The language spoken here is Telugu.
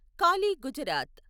కాలి గుజరాత్